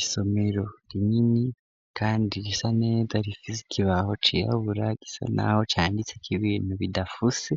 Isomero rinini, kandi risa neda rifisikibaho ciraho uburagisa, naho canditse kibintu bidafuse